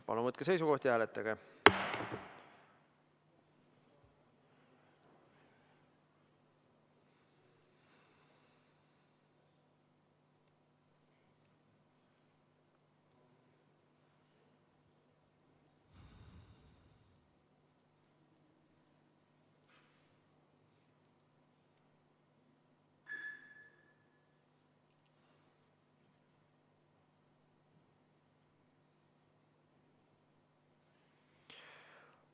Palun võtke seisukoht ja hääletage!